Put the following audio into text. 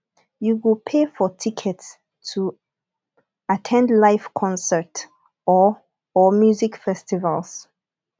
you go pay for tickets to at ten d live concert or or music festivals